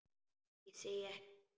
Ég segi ekkert meira.